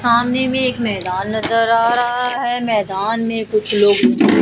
सामने में एक मैदान नजर आ रहा है मैदान में कुछ लोग--